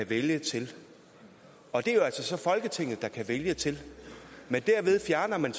vælge til og det er jo altså så folketinget der kan vælge til men derved fjerner man